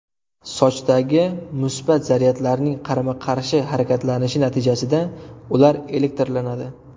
Sochdagi musbat zaryadlarning qarama-qarshi harakatlanishi natijasida ular elektrlanadi.